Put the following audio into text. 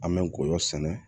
An bɛ ngɔyɔ sɛnɛ